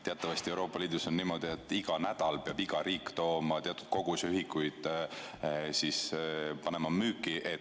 Teatavasti on Euroopa Liidus niimoodi, et iga nädal peab iga riik tooma teatud koguse ühikuid ja panema müüki.